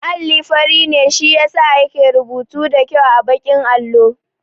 Alli fari ne shi yasa yake rubutu da kyau a baƙin allo